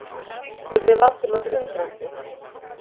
spurði Valdimar undrandi.